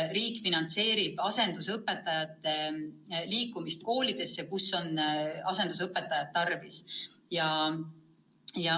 Riik finantseerib asendusõpetajate kasutamist koolides, kus asendusõpetajat tarvis on.